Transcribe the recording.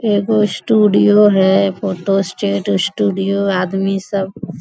एगो स्टूडियो है photo state studio आदमी सब --